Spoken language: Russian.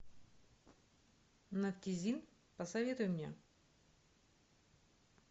нафтизин посоветуй мне